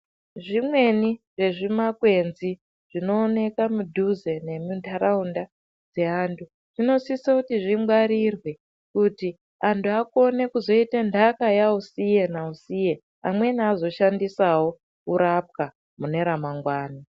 Zvimweni zve zvima kwenzi zvino onekwa mudhuze nemi ndaraunda dze antu dzino sisa kuti zvi ngwarirwe kuti antu akone kuzoita ndaka ya usiye na usiye amweni azo shandisawo ku rapwa mune ra mangwani.